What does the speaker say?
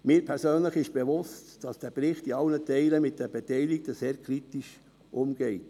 Mir persönlich ist bewusst, dass dieser Bericht mit den Beteiligten in allen Teilen sehr kritisch umgeht.